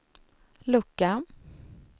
lucka